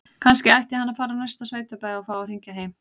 Kannski ætti hann að fara á næsta sveitabæ og fá að hringja heim?